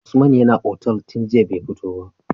Usman yAna otal tun jiya be fito ba